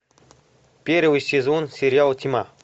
первый сезон сериал тьма